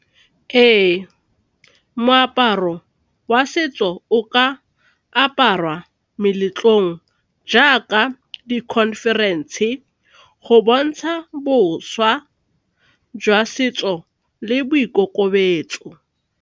Ee, moaparo wa setso o ka aparwa ko meletlong jaaka di-conference go bontsha bošwa jwa setso le boikokobetso.